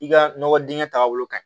I ka nɔgɔ dingɛ taaga bolo ka ɲi